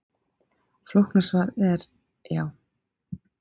Flókna svarið er: Já.